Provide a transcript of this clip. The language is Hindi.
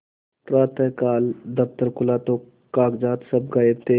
प्रातःकाल दफ्तर खुला तो कागजात सब गायब थे